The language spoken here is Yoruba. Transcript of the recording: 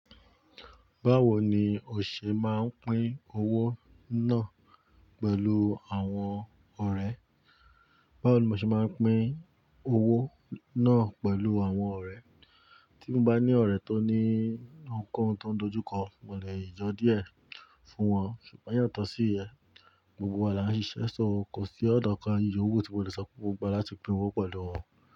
Báwo ni o ṣe máa ń pín owó náà pẹ̀lú àwọn ọ̀rẹ́? Báwo ni o ṣe máa ń pín owó náà pẹ̀lú àwọn ọ̀rẹ́? Tí mo bá ní ọ̀rẹ́ tó ní nǹkan tó ń dojúkọ, mo lè yanjú e fún wọn. Ṣùgbọ́n yàtọ̀ sí ìyẹn, gbogbo wa là ń ṣiṣẹ́, sọ ò kó si óna kan yowu tí mo lè sọ pé mo n gba wa láti pín owó pẹ̀lú wọn.